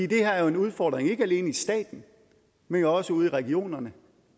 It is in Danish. det her er jo en udfordring ikke alene i staten men jo også ude i regionerne